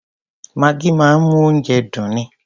Maggi máa ń mú oúnjẹ dùn ni.